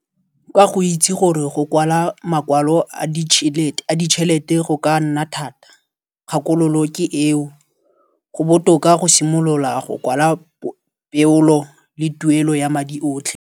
Ka go itse gore go kwala makwalo a ditšhelete go ka nna thata kgakololo ke eo. Go botoka go simolola go kwala peolo le tuelo ya madi otlhe.